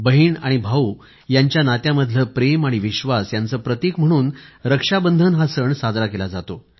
बहीण आणि भाऊ यांच्या नात्यामधलं प्रेम आणि विश्वास यांचं प्रतीक म्हणून रक्षाबंधन हा सण साजरा केला जातो